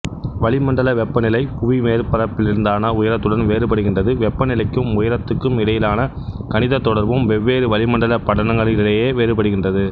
வளிமண்டல வெப்பநிலை புவி மேற்பரப்பிலிருந்தான உயரத்துடன் வேறுபடுகின்றது வெப்பநிலைக்கும் உயரத்துக்கும் இடையிலான கணிதத் தொடர்பும் வெவ்வேறு வளிமண்டலப் படலங்களிடையே வேறுபடுகின்றது